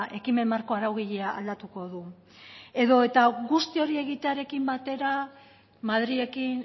ekimen marko araugilea aldatuko du edota guzti hori egitearekin batera madrilekin